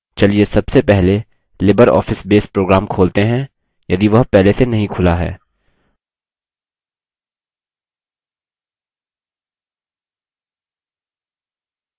चलिए सबसे पहले libreoffice base program खोलते हैं यदि वह पहले से नहीं खुला है